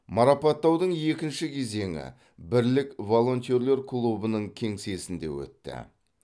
марапаттаудың екінші кезеңі бірлік волонтерлер клубының кеңсесінде өтті